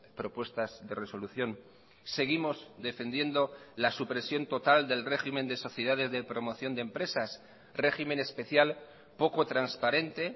propuestas de resolución seguimos defendiendo la supresión total del régimen de sociedades de promoción de empresas régimen especial poco transparente